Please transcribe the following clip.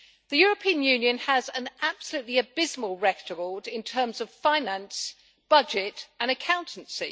The European Union has an absolutely abysmal record in terms of finance, budget and accountancy.